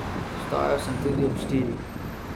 Vstajal sem tudi ob štirih.